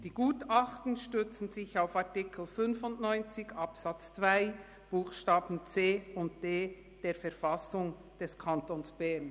Die Gutachten stützen sich auf Artikel 95 Absatz 2 Buchstaben c und d der Verfassung des Kantons Bern».